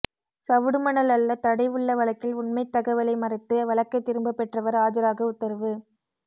சவுடு மணல் அள்ள தடை உள்ள வழக்கில் உண்மை தகவலை மறைத்து வழக்கை திரும்பப் பெற்றவர் ஆஜராக உத்தரவு